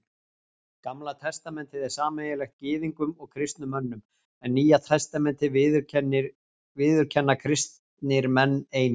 Gamla testamentið er sameiginlegt Gyðingum og kristnum mönnum, en Nýja testamentið viðurkenna kristnir menn einir.